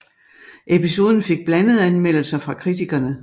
Episoden fik blandede anmeldelser fra kritikerne